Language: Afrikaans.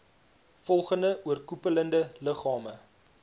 volgende oorkoepelende liggame